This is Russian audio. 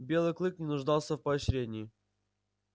белый клык не нуждался в поощрении